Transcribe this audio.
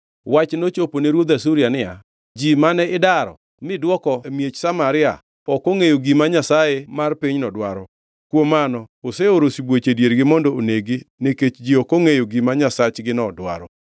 Wach nochopo ne ruodh Asuria niya, “Ji mane idaro midwoko e miech Samaria, ok ongʼeyo gima nyasaye mar pinyno dwaro. Kuom mano, oseoro sibuoche e diergi mondo oneg-gi nikech ji ok ongʼeyo gima nyasachgino dwaro.”